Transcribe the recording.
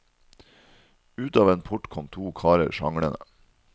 Ut av en port kom to karer sjanglende.